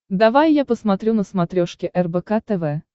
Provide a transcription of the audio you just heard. давай я посмотрю на смотрешке рбк тв